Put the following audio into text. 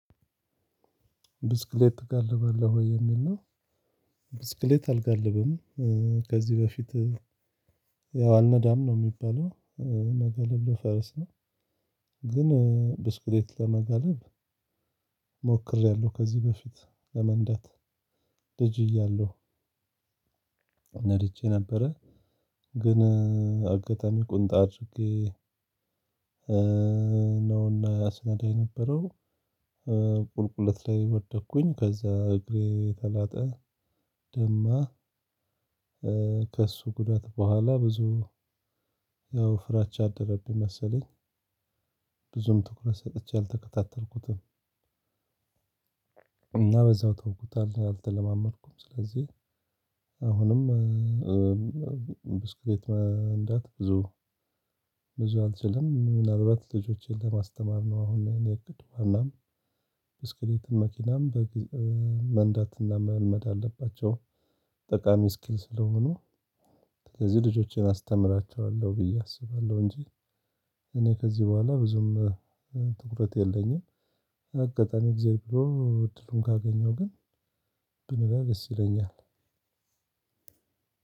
ብስክሌት ትጋልባለህ ወይ የሚል ነው? ብስክሌት አልጋልብም። ከዚህ በፊት ያው አልነዳም ነው ሚባለው። መገለብ ለፈረስ ነው። ግን ብስክሌት ለመገለብ ሞክሬያለሁ። ከዚህ በፊት ለመንዳት ልጅ እያለሁ ነድቼ ነበረ። ግን አጋጣሚ ቁንጣ አድርጌ ነውና ያስነዳ የነበረው ቁልቁለት ላይ ወደኩኝ ከዛ እግሬ ተላጠ ደማ። ከእሱ ጉዳት በኋላ ብዙ ያው ፍራቻ አደረብኝ መሰለኝ። ብዙም ትኩረት ሰጥቼ አልተከታተልኩትም። እና በዛው ተውኩት አልተለማመድኩም። ስለዚህ አሁንም ብስክሌት መንዳት ብዙ አልችልም። ምናልባት ልጆቸን ለማስተማር ነው አሁን ያኔ እቅድ እናም ብስክሌትም መኪናም በ መንዳትና መልመድ አለባቸው። ጠቃሚ ስኪል ስለሆኑ ከዚህ ልጆቼን አስተምራቸዋለሁ ብዬ አስባለሁ። እንጂ እኔ ከዚህ በኋላ ብዙም ትኩረት የለኝም። አጋጣሚ እግዚአብሔር ብሎ እድሉን ካገኘው ግን ብነዳ ደስ ይለኛል።